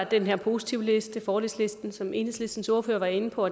den her positivliste den fordelsliste som enhedslistens ordfører var inde på